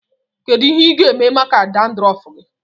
Kedụ ihe ị ga-eme maka dandrọfu gị?